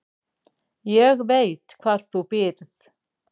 Ég veit hvar þú býrð